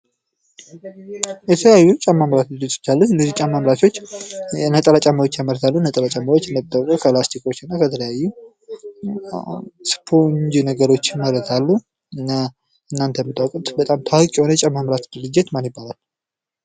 የተለያዩ ጫማ አምራች ድርጅቶች አሉ። እነዚህ ጫማ አምራቾች ነጠላ ጫማዎች ያመርታሉ። ነጥላ ጫማዎች ከላስቲኮችና ከተለያዩ ስፖንጅ ነገሮች ይመረታሉ እና እናንተ የምታውቁት በጣም ታዋቂ የሆነ የጫማ አምራች ድርጅት ማን ይባላል?